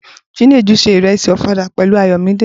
Chinedu se ìrẹsì Ọ̀fadà pẹ̀lú Ayọ̀míde.